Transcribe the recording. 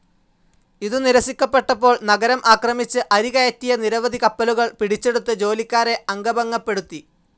ഇതു നിരസിക്കപ്പെട്ടപ്പോൾ നഗരം ആക്രമിച്ച് അരി കയറ്റിയ നിരവധി കപ്പലുകൾ പിടിച്ചെടുത്ത് ജോലിക്കാരെ അംഗഭംഗപ്പെടുത്തി